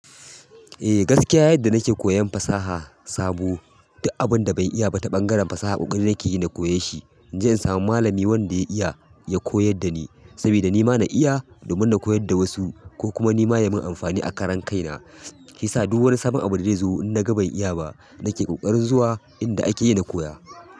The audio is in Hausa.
Eh gaskiya yadda nake koyan fasaha sabo duk abun da ban iya ba ta ɓangaren fasaha ƙoƙari nake yi na koye shi, in samu malami wanda ya iya ya koyar da ni saboda ni ma na iya domin na koyar da wasu ko kuma ni ma ya mun amfani a karan kaina, ke sa duk wani sabon abu da zai zo in naga ban iya ba nake ƙoƙarin zuwa inda akeyi na koya.